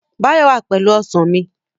Báyọ̀ wà pẹ̀lú Ọsàn mi